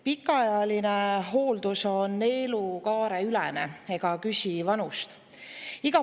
Pikaajaline hooldus on elukaareülene ega küsi vanust.